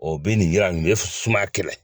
O bɛ nin yira nin be sumaya kɛlɛ